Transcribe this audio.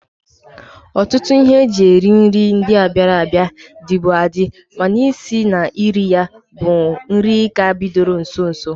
Ọtụtụ ihe e ji eme nri ndia bịara abịa, dịbu adị mana isi na iri ya bụ nri ka bidoro nso nso a.